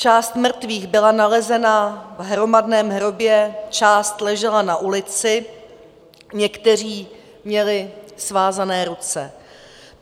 Část mrtvých byla nalezena v hromadném hrobě, část ležela na ulici, někteří měli svázané ruce.